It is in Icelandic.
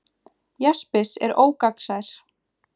jaspis er ógagnsær